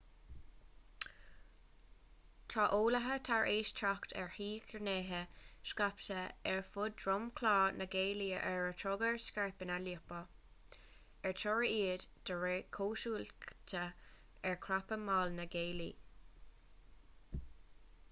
tá eolaithe tar éis teacht ar thírghnéithe scaipthe ar fud dhromchla na gealaí ar a dtugtar scairpeanna liopa ar toradh iad de réir cosúlachta ar chrapadh mall na gealaí